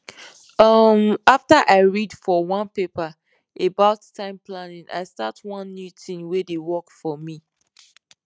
um after i read for one paper about time planning i start one new tin wey dey work for me